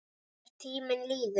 Þegar tíminn líður